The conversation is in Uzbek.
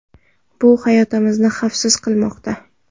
Bu hayotimizni xavfsiz qilmoqda.